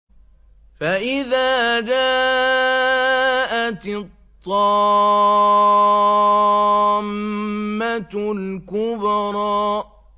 فَإِذَا جَاءَتِ الطَّامَّةُ الْكُبْرَىٰ